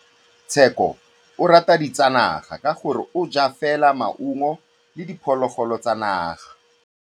Tshekô o rata ditsanaga ka gore o ja fela maungo le diphologolo tsa naga.